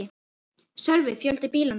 Sölvi: Fjölda bílanna?